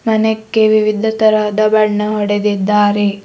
ಮನೆಗೆ ವಿವಿಧ ತರಹದ ಬಣ್ಣ ಹೊಡೆದಿದ್ದಾರೆ.